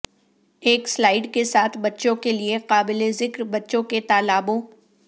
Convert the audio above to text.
ایک سلائڈ کے ساتھ بچوں کے لئے قابل ذکر بچوں کے تالابوں